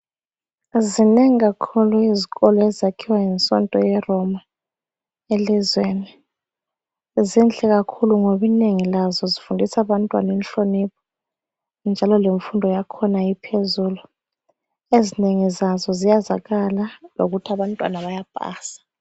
Zinengi kakhulu izikolo ezakhiwa yisonto yeRoma elizweni. Zinhle kakhulu ngoba inengi lazo zifundisa abantwana inhlonipho njalo lemfundo yakhona iphezulu. Ezinengi zazo ziyazakala ngokuthi abantwana bayapasa.